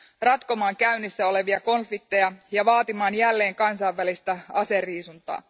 ratkomaan käynnissä olevia konflikteja ja vaatimaan jälleen kansainvälistä aseriisuntaa.